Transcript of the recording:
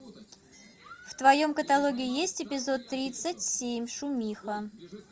в твоем каталоге есть эпизод тридцать семь шумиха